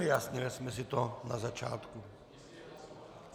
Vyjasnili jsme si to na začátku.